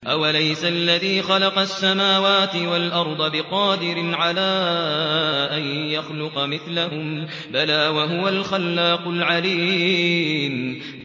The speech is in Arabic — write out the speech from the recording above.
أَوَلَيْسَ الَّذِي خَلَقَ السَّمَاوَاتِ وَالْأَرْضَ بِقَادِرٍ عَلَىٰ أَن يَخْلُقَ مِثْلَهُم ۚ بَلَىٰ وَهُوَ الْخَلَّاقُ الْعَلِيمُ